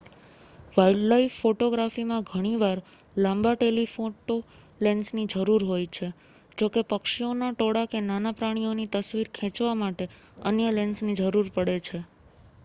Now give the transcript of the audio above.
wildlife ફોટોગ્રાફીમાં ઘણીવાર લાંબા ટેલિફોટો લેન્સની જરૂર હોય છે જોકે પક્ષીઓના ટોળા કે નાના પ્રાણીઓની તસ્વીર ખેંચવા માટે અન્ય લેન્સની જરૂર પડે છે